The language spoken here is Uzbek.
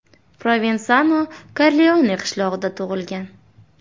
Provensano Korleone qishlog‘ida tug‘ilgan.